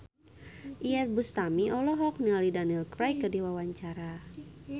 Iyeth Bustami olohok ningali Daniel Craig keur diwawancara